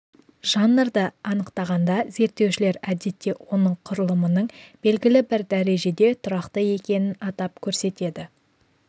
жанрды анықтағанда зерттеушілер әдетте оның құрылымының белгілі бір дәрежеде тұрақты екенін атап көрсетеді